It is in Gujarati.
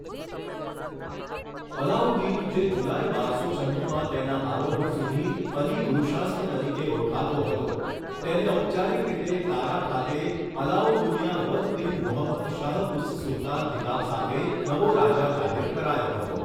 અલાઉદ્દીન, જે જુલાઇ બારસો છન્નુમાં તેના આરોહણ સુધી અલી ગુરુશાસ્પ તરીકે ઓળખાતો હતો, તેને ઔપચારિક રીતે કારા ખાતે અલાઉદ્દુન્યા વદ દીન મુહમ્મદ શાહ ઉસ સુલતાન ખિતાબ સાથે નવો રાજા જાહેર કરાયો હતો.